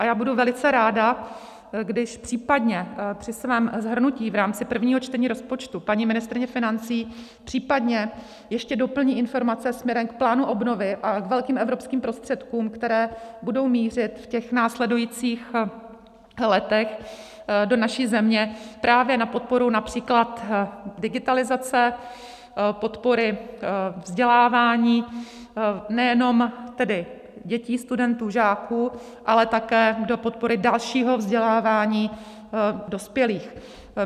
A já budu velice ráda, když případně při svém shrnutí v rámci prvního čtení rozpočtu paní ministryně financí případně ještě doplní informace směrem k plánu obnovy a k velkým evropským prostředkům, které budou mířit v těch následujících letech do naší země právě na podporu například digitalizace, podporu vzdělávání nejenom tedy dětí, studentů, žáků, ale také do podpory dalšího vzdělávání dospělých.